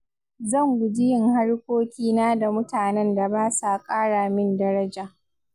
Zan guji yin harkokina da mutanen da ba sa ƙara min daraja.